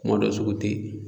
Kuma dɔ sugu tɛ yen.